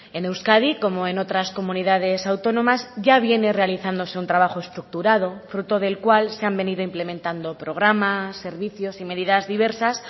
en euskadi como en otras comunidades autónomas ya viene realizándose un trabajo estructurado fruto del cual se han venido implementando programas servicios y medidas diversas